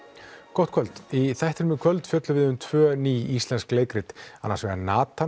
gott kvöld í þættinum í kvöld fjöllum við um tvö ný íslensk leikrit annars vegar